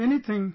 Anything